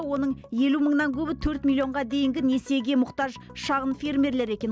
оның елу мыңнан көбі төрт миллионға дейінгі несиеге мұқтаж шағын фермерлер екен